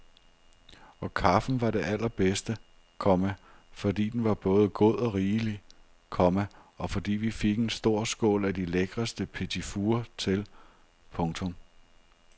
Og kaffen var det allerbedste, komma fordi den var både god og rigelig, komma og fordi vi fik en stor skål af de lækreste petitfours til. punktum